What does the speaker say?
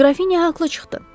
Qrafinya haqqlı çıxdı.